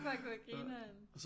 Fuck hvor grineren